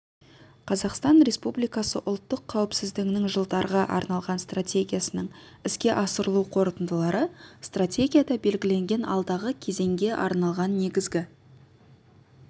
қазақстан республикасы ұлттық қауіпсіздігінің жылдарға арналған стратегиясының іске асырылу қорытындылары стратегияда белгіленген алдағы кезеңге арналған негізгі